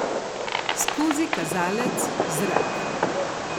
Skozi kazalec zrak.